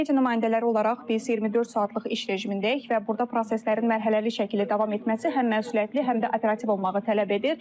Media nümayəndələri olaraq biz 24 saatlıq iş rejimindəyik və burda proseslərin mərhələli şəkildə davam etməsi həm məsuliyyətli, həm də operativ olmağı tələb edir.